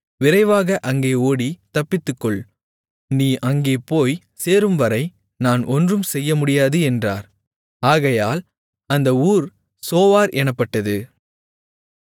விரைவாக அங்கே ஓடித் தப்பித்துக்கொள் நீ அங்கே போய்ச் சேரும்வரை நான் ஒன்றும் செய்யமுடியாது என்றார் ஆகையால் அந்த ஊர் சோவார் எனப்பட்டது